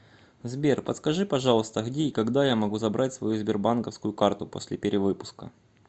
сбер подскажи пожалуйста где и когда я могу забрать свою сбербанковскую карту после перевыпуска